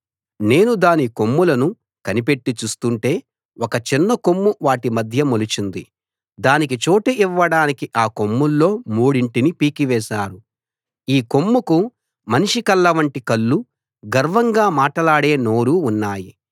నేను దాని కొమ్ములను కనిపెట్టి చూస్తుంటే ఒక చిన్న కొమ్ము వాటి మధ్య మొలిచింది దానికి చోటు ఇవ్వడానికి ఆ కొమ్ముల్లో మూడింటిని పీకి వేశారు ఈ కొమ్ముకు మనిషి కళ్ళ వంటి కళ్ళు గర్వంగా మాటలాడే నోరు ఉన్నాయి